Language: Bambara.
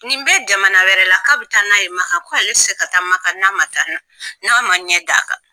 Nin bɛɛ jamana wɛrɛ la k'a bɛ taa n'ale ye Makan, ko ale tɛ se ka taa Makan n'a ma taa n'a n'a ma ɲɛ d'a kan.